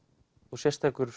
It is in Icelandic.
og sérstakur